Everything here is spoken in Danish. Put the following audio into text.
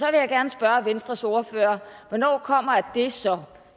jeg gerne spørge venstres ordfører hvornår kommer det så